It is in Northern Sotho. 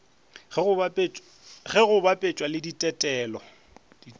ge go bapetšwa le ditetelo